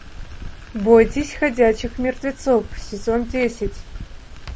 бойтесь ходячих мертвецов сезон десять